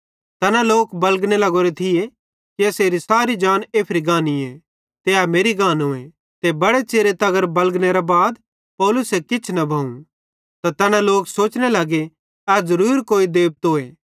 तैना लोक बलगने लग्गोरो थिये कि एसेरी सारी जान एफरी गानीए ते ए मेरि गानोए ते बड़े च़िरे तगर बलगनेरे बाद पौलुसे किछ न भोवं त तैना लोक सोचने लगे ए ज़रूर कोई देबतोए